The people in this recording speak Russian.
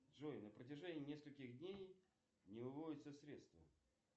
джой на протяжении нескольких дней не выводятся средства